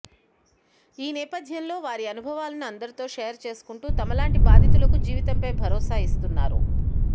ఈ నేపథ్యంలో వారి అనుభవాలను అందరితో షేర్ చేసుకుంటూ తమలాంటి బాధితులకు జీవితంపై భరోసా ఇస్తున్నారు